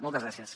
moltes gràcies